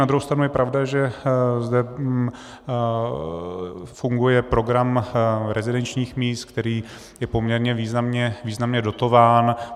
Na druhou stranu je pravda, že zde funguje program rezidenčních míst, který je poměrně významně dotován.